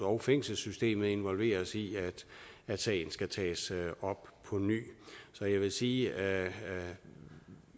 og fængselssystemet involveres i at sagen tages op på ny så jeg vil sige at